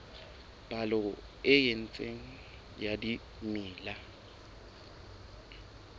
palo e itseng ya dimela